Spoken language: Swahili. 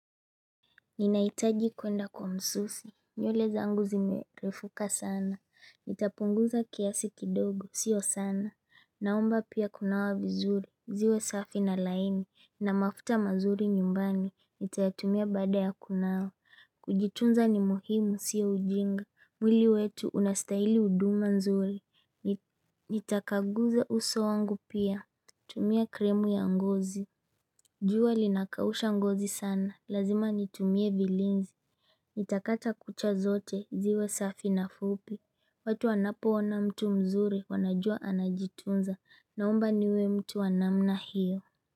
Ninahitaji kuenda kwa msusi, nywele zangu zimerefuka sana, nitapunguza kiasi kidogo, sio sana Naomba pia kunawa vizuri, ziwe safi na laini, na mafuta mazuri nyumbani, nitayatumia baada ya kunawa Kujitunza ni muhimu sio ujinga, mwili wetu unastahili huduma nzuri Nitakaguza uso wangu pia, tumia krimu ya ngozi jua linakausha ngozi sana, lazima nitumie vilinzi, nitakata kucha zote, ziwe safi na fupi, watu wanapoona mtu mzuri, wanajua anajitunza, naomba niwe mtu wa namna hiyo.